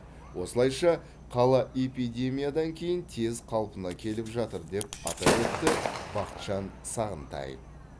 осылайша қала эпидемиядан кейін тез қалпына келіп жатыр деп атап өтті бақытжан сағынтаев